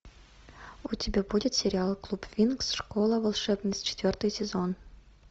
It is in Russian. у тебя будет сериал клуб винкс школа волшебниц четвертый сезон